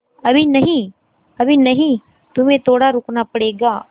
अभी नहीं अभी नहीं तुम्हें थोड़ा रुकना पड़ेगा